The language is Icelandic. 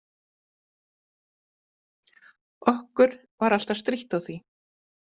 Okkur var alltaf strítt á því.